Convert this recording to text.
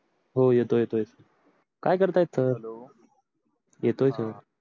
हो येतो येतो येतो काय करत आहे सर येतोय सर